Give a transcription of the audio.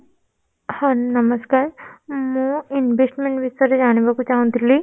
ହଁ, ନମସ୍କାର ମୁଁ investment ବିଷୟରେ ଜାଣିବାକୁ ଚାହୁଁଥିଲି